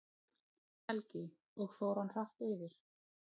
Helgi: Og fór hann hratt yfir?